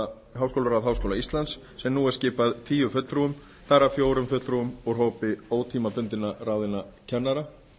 um háskólaráð háskóla íslands sem nú er skipað tíu fulltrúum þar af fjórum fulltrúum úr hópi ótímabundið ráðinna kennara